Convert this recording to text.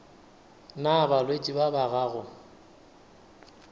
na balwetši ba ba gago